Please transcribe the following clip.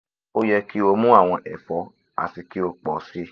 o yẹ ki o mu awọn ẹfọ ati ki o pọ si